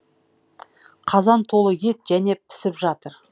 қазан толы ет және пісіп жатыр